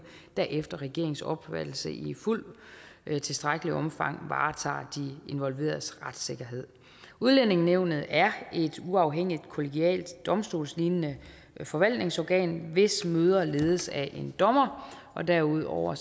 der efter regeringens opfattelse i fuldt tilstrækkeligt omfang varetager de involveredes retssikkerhed udlændingenævnet er et uafhængigt kollegialt domstolslignende forvaltningsorgan hvis møder ledes af en dommer derudover